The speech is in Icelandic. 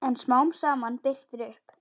En smám saman birtir upp.